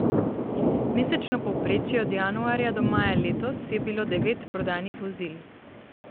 Mesečno povprečje od januarja do maja letos je bilo devet prodanih vozil.